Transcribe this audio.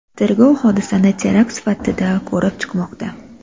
Tergov hodisani terakt sifatida ko‘rib chiqmoqda.